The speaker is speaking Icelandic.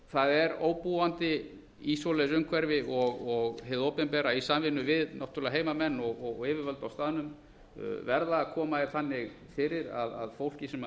það er óbúandi í slíku umhverfi og hið opinbera í samvinnu við náttúrlega heimamenn og yfirvöld á staðnum verða að koma því þannig fyrir að fólk sem býr